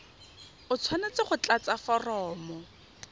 o tshwanetse go tlatsa foromo